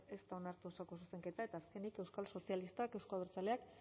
ez da onartu osoko zuzenketa eta azkenik euskal sozialistak euzko abertzaleak